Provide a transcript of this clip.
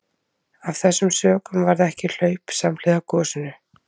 Af þessum sökum varð ekki hlaup samhliða gosinu.